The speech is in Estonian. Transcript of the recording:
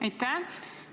Aitäh!